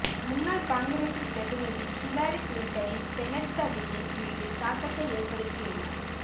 முன்னாள் காங்கிரசின் பிரதிநிதி ஹிலாரி கிளின்டனின் செனட் சதியின் மீது தாக்கத்தை ஏற்படுத்தியுள்ளார்